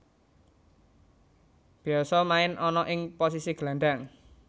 Biasa main ana ing posisi gelandang